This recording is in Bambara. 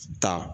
Taa